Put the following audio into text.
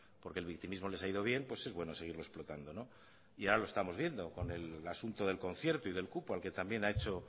porque el victimismo les ha ido bien pues es bueno seguirlo explotando no y ahora lo estamos viendo con el asunto del concierto y del cupo al que también ha hecho